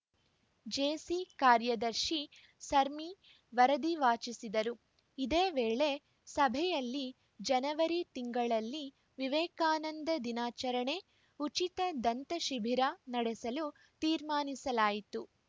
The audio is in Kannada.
ಜೇಸಿ ಕಾರ್ಯದರ್ಶಿ ಸಮೀರ್‌ ವರದಿ ವಾಚಿಸಿದರು ಇದೇ ವೇಳೆ ಸಭೆಯಲ್ಲಿ ಜನವರಿ ತಿಂಗಳಲ್ಲಿ ವಿವೇಕಾನಂದ ದಿನಾಚರಣೆ ಉಚಿತ ದಂತ ಶಿಬಿರ ನಡೆಸಲು ತೀರ್ಮಾನಿಸಲಾಯಿತು